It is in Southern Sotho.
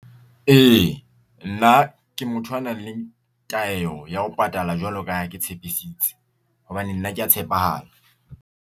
E, nna ke motho a nang le taelo ya ho patala jwalo ka ha ke tshepisitse hobane nna ke ya tshepahala.